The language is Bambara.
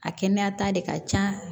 A kɛnɛya ta de ka ca